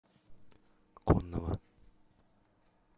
коннова